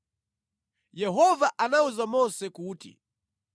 Yehova anawuza Mose kuti,